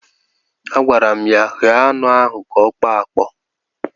Agwara m ya, ghee anụ ahụ ka ọ kpọọ akpọọ!